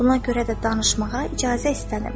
Buna görə də danışmağa icazə istənim.